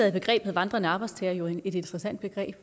er begrebet vandrende arbejdstagere jo et interessant begreb